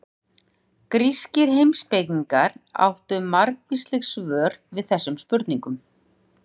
Grískir heimspekingar áttu margvísleg svör við þessum spurningum.